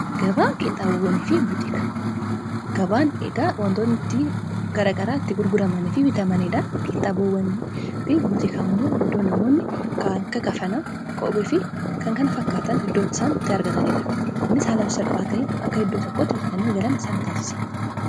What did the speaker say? gabaa qiinxabwagabaan eegaa wantoonitti garagaraa itti gurguramanii fi bitamaniidha qiinxaboowwani fi buxika immoo iddoo namoonni kakka kafanaa kope fi kan kana fakkaatan iddoot isaantti argataniidha ni saalab salphaata'iin akka iddoo tokkotti bitatanii galan isaa taasisa